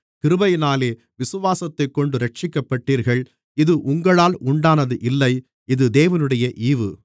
கிருபையினாலே விசுவாசத்தைக் கொண்டு இரட்சிக்கப்பட்டீர்கள் இது உங்களால் உண்டானது இல்லை இது தேவனுடைய ஈவு